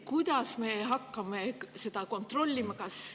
Kuidas me hakkame seda kontrollima?